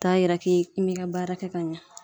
Ta yira k'i mi ka baara kɛ ka ɲa.